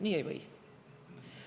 Nii ei või.